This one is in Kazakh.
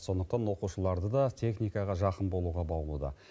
сондықтан оқушыларды да техникаға жақын болуға баулуда